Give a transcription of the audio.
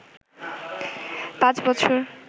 ৫ বছর